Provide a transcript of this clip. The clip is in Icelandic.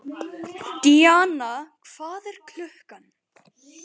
Díanna, hvað er klukkan?